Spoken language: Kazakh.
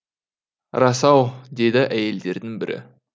рас ау деді әйелдердің бірі